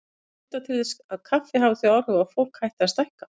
Það er ekki vitað til þess kaffi hafi þau áhrif að fólk hætti að stækka.